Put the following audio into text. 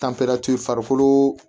farikolo